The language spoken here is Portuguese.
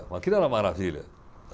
Mas aquilo era uma maravilha.